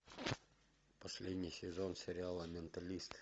последний сезон сериала менталист